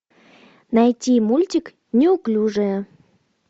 найти мультик неуклюжая